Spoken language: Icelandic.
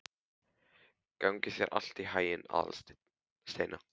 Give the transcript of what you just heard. Gangi þér allt í haginn, Aðalsteina.